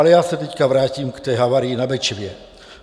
Ale já se teď vrátím k té havárii na Bečvě.